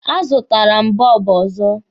A zụtara m bọlbụ ọzọ.